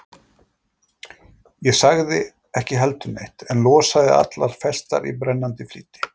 Ég sagði ekki heldur neitt, en losaði allar festar í brennandi flýti.